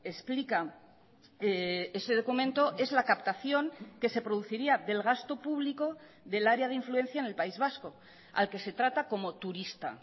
explica ese documento es la captación que se produciría del gasto público del área de influencia en el país vasco al que se trata como turista